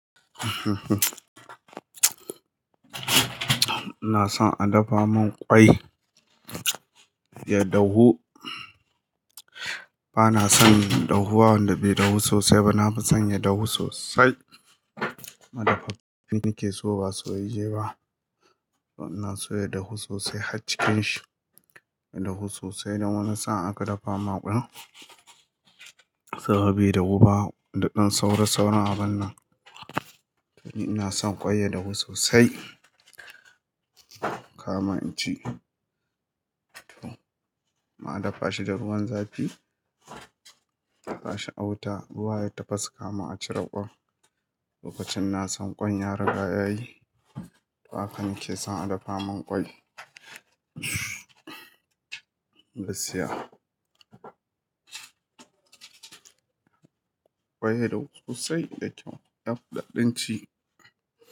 Ina son a dafa min kwai, ya dahu. Bana son dahuwa wanda bai dahu sosai ba, na fi son ya dahu sosai. Mai dafa abinci nake so ba sayayye ba. Ina so ya dahu sosai har cikin shi, ya dahu sosai don wani sa'in aka dafa ma ƙwan, saboda bai dahu ba, da ɗan saura sauran abin nan. Ina son kwai ya dahu sosai, kama inci. To, ma a dafa shi da ruwan zafi, ba shi a wuta, ruwa ya tafas kamin a cire ƙwan. Lokacin na san ƙwan ya riga ya yi, to haka nake son a dafa min kwai. Gaskiya. Kwai ya dahu sosai da kyau, ya fi daɗin ci.